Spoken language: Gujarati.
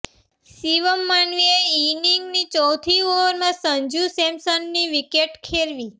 શિવમ માવીએ ઈનિંગની ચોથી ઓવરમાં સંજૂ સેમસનની વિકેટ ખેરવી